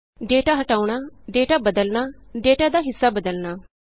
data ਹਟਾਉਣਾ data ਬਦਲਣਾ data ਦਾ ਹਿੱਸਾ ਬਦਲਣਾ